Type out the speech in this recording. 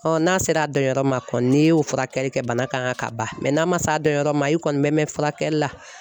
n'a sera a dɔnyɔrɔ ma kɔni n'i y'o furakɛli kɛ bana kan ka ban n'a ma se a dɔnyɔrɔ ma i kɔni bɛ mɛɛn furakɛli la